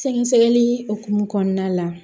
Sɛgɛsɛgɛli hokumu kɔnɔna la